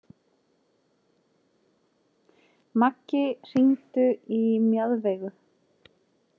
Maggi, hringdu í Mjaðveigu.